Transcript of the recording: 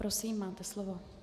Prosím, máte slovo.